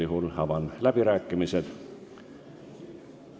Kui on, siis avan läbirääkimised.